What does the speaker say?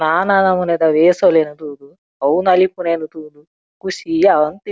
ನಾನಾ ನಮೂನೆಲೆದ ವೇಷಲೆನ್ ತೂದ್ ಅವು ನಲಿಪುನೆನ್ ತೂದ್ ಖುಷಿ ಆವೊಂದಿತ್ತ್.